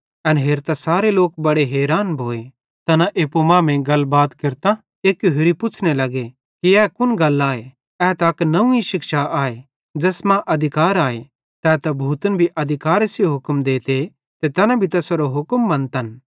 एन हेरतां सारे लोक बड़े हैरान भोए तैना एप्पू मांमेइं गलबात केरतां एक्की होरि पुछ़्ने लग्गे कि ए कुन गल आए ए त अक नंव्वी शिक्षा आए ज़ैस मां अधिकार आए तै त भूतन भी अधिकारे सेइं हुक्म देते ते तैना भी तैसेरो हुक्म मन्तन